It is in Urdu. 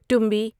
ٹمبی